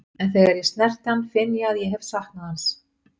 En þegar ég snerti hann finn ég að ég hef saknað hans.